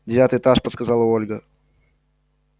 девятый этаж подсказала ольга